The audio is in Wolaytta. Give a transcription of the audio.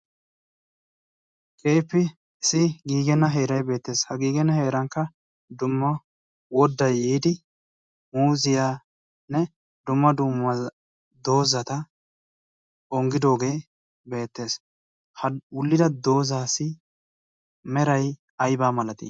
keefi isi giigenna heerai beettees. ha giigenna heerankka dumma woddai yiidi muuziyaanne dumma dummwa doozata onggidoogee beettees. ha ullida doozaasi merai aibaa malati?